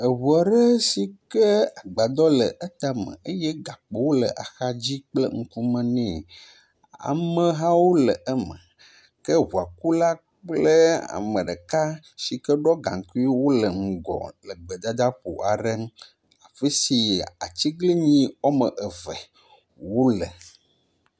Eŋu aɖe si ke agbadɔ le etame eye agbadɔ gakpowo le axa dzi kple ŋkume nɛ. Amehawo le eme ke ŋuakula kple ame ɖeka si ke ɖɔ gaŋkui wo le ŋgɔ e gbedadaƒo aɖe afi si atiglinyi wɔme eve wo le.